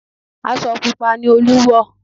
Aṣọ pupa ni Olú wọ̀